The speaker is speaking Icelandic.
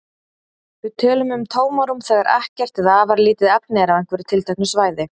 Við tölum um tómarúm þegar ekkert eða afar lítið efni er á einhverju tilteknu svæði.